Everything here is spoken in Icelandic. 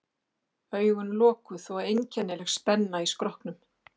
Augun lokuð og einkennileg spenna í skrokknum.